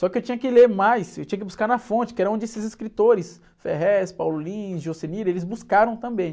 Só que eu tinha que ler mais, eu tinha que buscar na fonte, que era onde esses escritores, Ferréz, Paulo Lins, Jocenir, eles buscaram também.